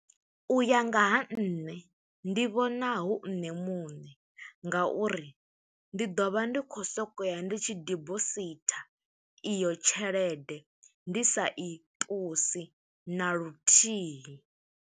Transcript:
U ya nga ha nṋe, ndi vhona hu nṋe muṋe, nga uri ndi ḓo vha ndi khou sokou ya ndi tshi debositha iyo tshelede. Ndi sa i ṱusi, na luthihi.